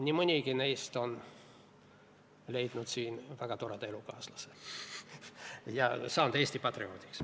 Nii mõnigi neist on leidnud siin väga toreda elukaaslase ja saanud Eesti patrioodiks.